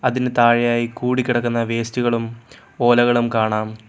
അതിന് താഴെയായി കൂടി കിടക്കുന്ന വേസ്റ്റുകളും ഓലകളും കാണാം.